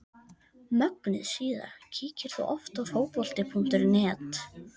Mögnuð síða Kíkir þú oft á Fótbolti.net?